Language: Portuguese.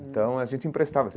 Então a gente emprestava.